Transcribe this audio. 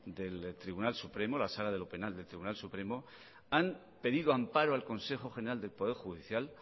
del tribunal supremo la sala de lo penal del tribunal supremo han pedido amparo al consejo general del poder judicial